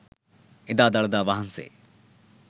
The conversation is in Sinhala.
එදා දළදා වහන්සේ